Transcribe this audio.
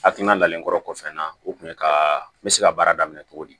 A timinalenkɔrɔ kɔfɛ n na o kun ye ka n bɛ se ka baara daminɛ cogo di